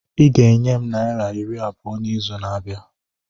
Ị ga-enye m naira iri abụọ n'izu na-abịa!